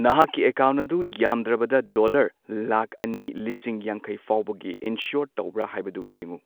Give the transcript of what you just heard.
ꯅꯍꯥꯛꯀꯤ ꯑꯦꯀꯥꯎꯟꯠ ꯑꯗꯨ ꯌꯥꯃꯗ꯭ꯔꯕꯗ ꯗꯣꯂꯔ ꯂꯥꯈ ꯑꯅꯤ ꯂꯤꯁꯤꯡ ꯌꯥꯡꯈꯩ ꯐꯥꯎꯕꯒꯤ ꯏꯟꯁ꯭ꯌꯣꯔ ꯇꯧꯕ꯭ꯔ ꯍꯥꯏꯕꯗꯨ ꯌꯦꯡꯎ꯫